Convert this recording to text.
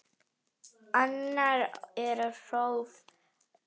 Annar er próf.